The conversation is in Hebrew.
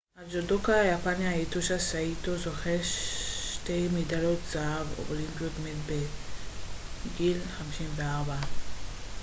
הג'ודוקה היפני היטושי סאיטו זוכה שתי מדליות זהב אולימפיות מת בגיל 54